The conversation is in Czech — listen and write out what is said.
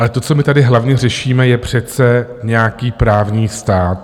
Ale to, co my tady hlavně řešíme, je přece nějaký právní stát.